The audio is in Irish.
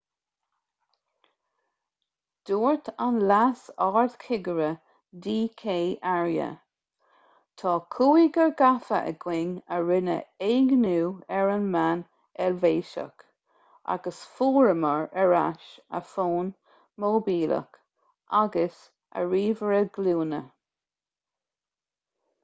dúirt an leas-ardchigire d k arya tá cúigear gafa againn a rinne éigniú ar an mbean eilvéiseach agus fuaireamar ar ais a fón móibíleach agus a ríomhaire glúine